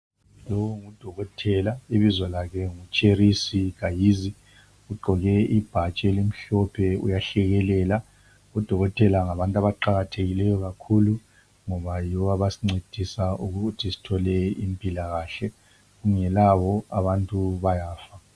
lo ngu dokotela ibizo lakhe ngu Cherizi Gahizi ugqoke ibhatshi elimhlophe uyahlekelela o dokotela ngabantu abaqakathekileyo kakhulu ngoba yibo abasincedisa ukuthi sithole impilakahle kungelabo abantu bayafa